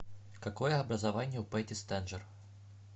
какое образование у пэтти стенджер